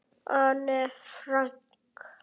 Anne Frank.